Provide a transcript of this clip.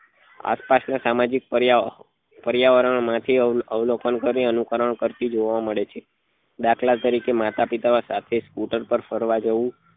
આસપાસ માં સામાજિક પર્યાવરણ માંથી અવલોકન કરી અનુકરણ કરતી જોવા મળે છે દાખલા તરીકે માતા પિતા સાથે સ્કુટર પર ફરવા જવું